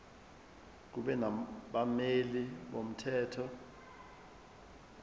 kube nabameli bomthetho